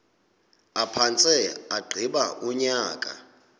aphantse agqiba unyaka